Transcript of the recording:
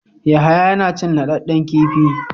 Yahaya yana cin naɗɗaden kifi.